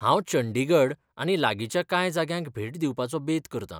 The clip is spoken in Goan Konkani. हांव चंडीगढ आनी लागींच्या कांय जाग्यांक भेट दिवपाचो बेत करतां.